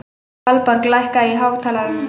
Valborg, lækkaðu í hátalaranum.